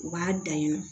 U b'a dan yen nɔ